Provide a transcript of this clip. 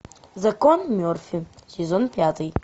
закон мерфи сезон пятый